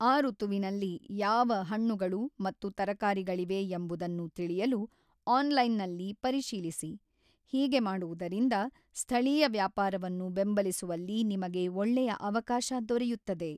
ಆ ಋತುವಿನಲ್ಲಿ ಯಾವ ಹಣ್ಣುಗಳು ಮತ್ತು ತರಕಾರಿಗಳಿವೆ ಎಂಬುದನ್ನು ತಿಳಿಯಲು ಆನ್ಲೈನ್ನಲ್ಲಿ ಪರಿಶೀಲಿಸಿ; ಹೀಗೆ ಮಾಡುವುದರಿಂದ, ಸ್ಥಳೀಯ ವ್ಯಾಪಾರವನ್ನು ಬೆಂಬಲಿಸುವಲ್ಲಿ ನಿಮಗೆ ಒಳ್ಳೆಯ ಅವಕಾಶ ದೊರೆಯುತ್ತದೆ.